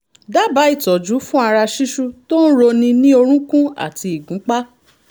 dábàá ìtọ́jú fún ara ṣíṣú tó ń roni ní orúnkún àti ìgúnpá